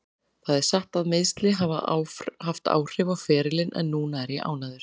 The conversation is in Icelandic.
Það er satt að meiðsli hafa haft áhrif á ferilinn en núna er ég ánægður.